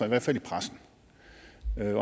i hvert fald i pressen